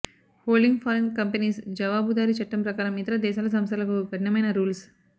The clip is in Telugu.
హోల్డింగ్ ఫారిన్ కంపెనీస్ జవాబుదారీ చట్టం ప్రకారం ఇతర దేశాల సంస్థలకు కఠినమైన రూల్స్